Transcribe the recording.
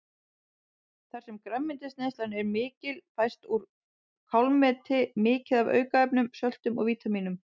Þar sem grænmetisneyslan er mikil fæst úr kálmeti mikið af aukaefnum, söltum og vítamínum.